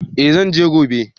Eh zan je gobe